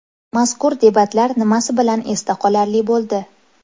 Mazkur debatlar nimasi bilan esda qolarli bo‘ldi?